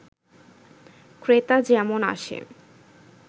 ক্রেতা যেমন আসে